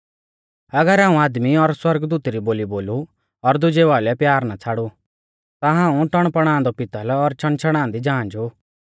अगर हाऊं आदमी और सौरगदूतु री बोली बोलु और दुजेऊ आइलै प्यार ना छ़ाड़ू ता हाऊं टणपणादौ पितल़ और छ़णछ़णांदी झांझ ऊ